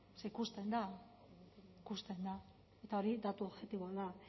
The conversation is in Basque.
zer ikusten da ikusten da eta hori datu objektiboa da